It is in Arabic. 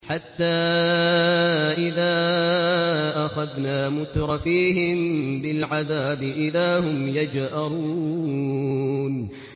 حَتَّىٰ إِذَا أَخَذْنَا مُتْرَفِيهِم بِالْعَذَابِ إِذَا هُمْ يَجْأَرُونَ